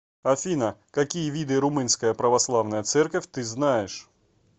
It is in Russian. афина какие виды румынская православная церковь ты знаешь